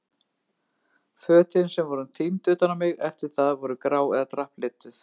Fötin sem voru tínd utan á mig eftir það voru grá eða drapplituð.